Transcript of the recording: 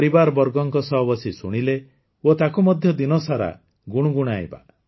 ପରିବାରବର୍ଗଙ୍କ ସହ ବସି ଶୁଣିଲେ ଓ ତାକୁ ମଧ୍ୟ ଦିନସାରା ଗୁଣୁଗୁଣାଇବା